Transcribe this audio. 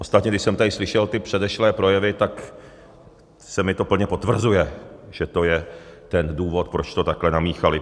Ostatně když jsem tady slyšel ty předešlé projevy, tak se mi to plně potvrzuje, že to je ten důvod, proč to takhle namíchaly.